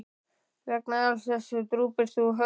Vegna alls þessa drúpir þú höfði.